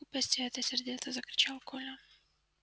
глупости это сердито закричал коля